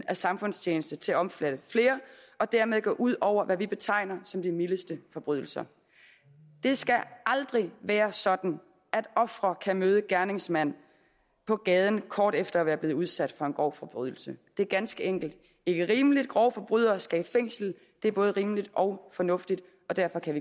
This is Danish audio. af samfundstjeneste til at omfatte flere og dermed række ud over det vi betegner som de mildeste forbrydelser det skal aldrig være sådan at ofre kan møde gerningsmand på gaden kort efter at være blevet udsat for en grov forbrydelse det er ganske enkelt ikke rimeligt grove forbrydere skal i fængsel det er både rimeligt og fornuftigt derfor kan